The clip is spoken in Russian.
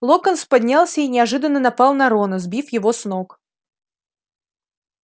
локонс поднялся и неожиданно напал на рона сбив его с ног